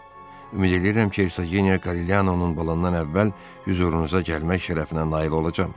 Madam, ümid eləyirəm ki, Ersogenia Qarilyanonun balından əvvəl hüzurunuza gəlmək şərəfinə nail olacam.